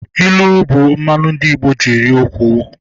Ịlụ bụ mmanụ ndị Igbo ji eri okwu